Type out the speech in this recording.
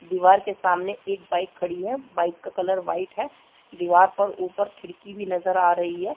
दीवार के सामने एक बाइक खड़ी है बाइक का कलर वाइट है दीवार पर ऊपर खिड़की भी नजर आ रही हैं।